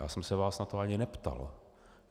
Já jsem se vás na to ani neptal.